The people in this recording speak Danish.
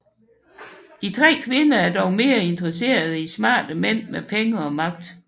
De tre kvinder er dog mere interesserede i smarte mænd med penge og magt